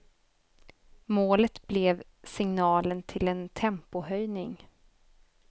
Målet blev signalen till en tempohöjning.